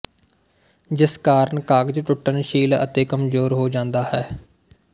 ਜਿਸ ਕਾਰਨ ਕਾਗਜ਼ ਟੁੱਟਣਸ਼ੀਲ ਅਤੇ ਕਮਜ਼ੋਰ ਹੋ ਜਾਂਦਾ ਹੈ